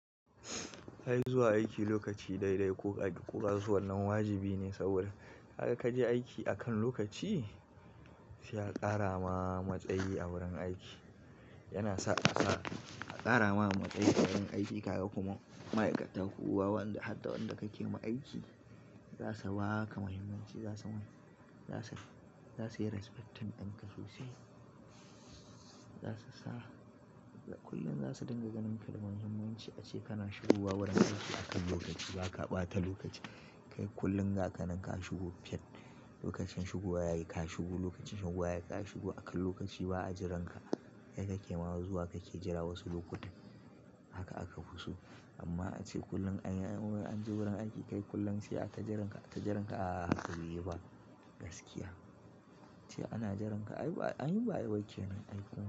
Ai zuwa aiki lokaci dai dai ko kaƙi ko kaso wannan wajibi ne saboda haka kaje aiki akan lokaci shi ya ƙara ma matsayi a wurin aiki. Yana sa a ƙara ma matsayi a wurin aiki, ka ga kuma ma'aikata ko wanda har da wanda kake ma aiki za su ba ka muhimmanci, za su yi "respecting" ɗinka sosai. Zasu sa kullum za su dinga ganin ka da muhimmanci ace kana shigo wa wurin aiki akan lokaci ba ka ɓata lokaci. Kai kullum ga ka nanka ka shigo, fit lokacin shigowa yayi ka shigo, lokacin shigowa yayi ka shigo akan lokaci ba a jiranka. Yanda kake ma zuwa kake jira wasu lokuta haka aka fi so. Amma ace kullum an yi an je wurin aiki kai kullum ce aka jiranka aka jiranka a haka baiyi ba gaskiya. Ce ana jiranka ayi ba ayi bakke ne aiki.